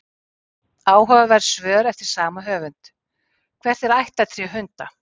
Áhugaverð svör eftir sama höfund: Hvert er ættartré hunda?